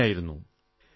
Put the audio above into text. അതിങ്ങനെയായിരുന്നു